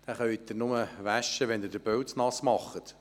Sie können ihn nur waschen, wenn sie seinen Pelz nass machen.